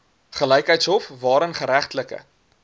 gelykheidshof waarin geregtelike